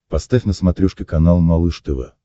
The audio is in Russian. поставь на смотрешке канал малыш тв